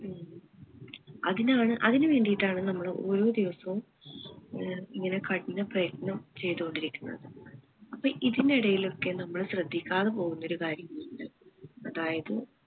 അതിനാണ് അതിനുവേണ്ടിയിട്ടാണ് നമ്മൾ ഓരോ ദിവസവും ഏർ ഇങ്ങനെ കഠിന പ്രയത്‌നം ചെയ്ത് കൊണ്ടിരിക്കുന്നത് അപ്പൊ ഇതിനിടയിൽ ഒക്കെ നമ്മൾ ശ്രദ്ധിക്കാതെ പോകുന്ന ഒരു കാര്യം ഉണ്ട് അതായത്